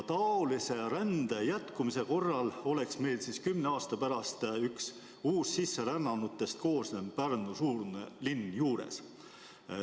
Taolise rände jätkumise korral oleks meil kümne aasta pärast üks uussisserännanutest koosnev Pärnu-suurune linn juures.